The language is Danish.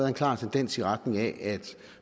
en klar tendens i retning af at